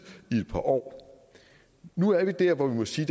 i et par år nu er vi der hvor vi må sige